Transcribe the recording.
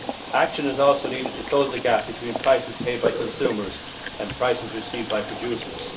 Action is also needed to close the gap between prices paid by consumers and prices received by producers.